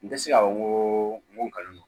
N tɛ se k'a fɔ n ko n ko n kalon don